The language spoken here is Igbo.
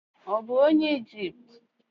Ọ̀ bụ onye Ijipt?